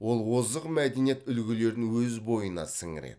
ол озық мәдениет үлгілерін өз бойына сіңіреді